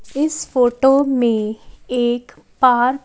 इस फोटो में एक पार्क --